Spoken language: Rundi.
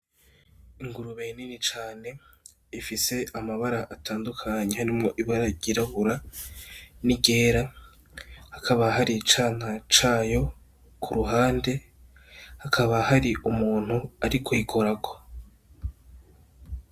Ingurube nini cane ifise amabara atandukanye, harimwo ibara ry'irabura n'iryera hakaba hari icana cayo kuruhande hakaba hari umuntu ariko ayikorako.